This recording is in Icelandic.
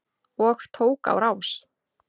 Og tók á rás.